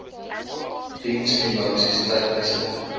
diens finansies tegniese